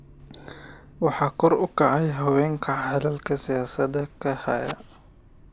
Waxaa kor u kacaya haweenka xilalka siyaasadeed ka haya.